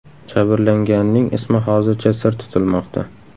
Jabrlanganning ismi hozircha sir tutilmoqda.